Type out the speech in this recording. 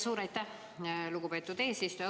Suur aitäh, lugupeetud eesistuja!